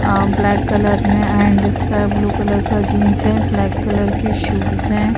अ black colour में and sky blue colour का jeans है। ब्लैक कलर के शूज हैं।